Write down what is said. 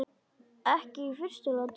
Ekki í fyrstu lotu!